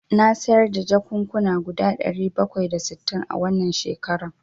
Na sayar da jakukkuna guda ɗari bakwai da sittin a wannan shekaran.